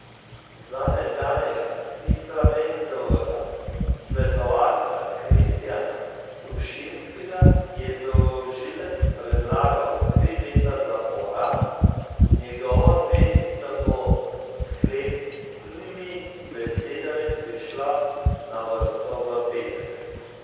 Za nekdanjega Istrabenzovega svetovalca Kristjana Sušinskega je tožilec predlagal tri leta zapora, njegova odvetnica bo s sklepnimi besedami prišla na vrsto v petek.